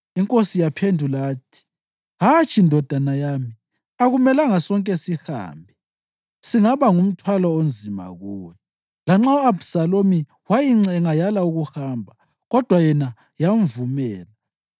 Inkosi yaphendula yathi, “Hatshi, ndodana yami. Akumelanga sonke sihambe; singaba ngumthwalo onzima kuwe.” Lanxa u-Abhisalomu wayincenga, yala ukuhamba, kodwa yena yamvumela.